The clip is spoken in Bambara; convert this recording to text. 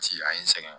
Sigi a ye n sɛgɛn